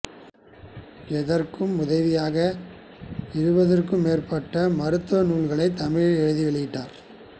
இதற்கு உதவியாக இருபதுக்கும் மேற்பட்ட மருத்துவ நூல்களைத் தமிழில் எழுதி வெளியிட்டார்